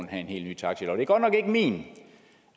have en helt ny taxilov det er godt nok ikke min